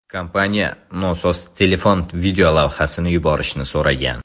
Kompaniya nosoz telefon videolavhasini yuborishni so‘ragan.